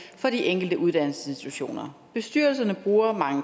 for de enkelte uddannelsesinstitutioner bestyrelserne bruger mange